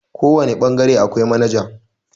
kawane bangare akwai manajan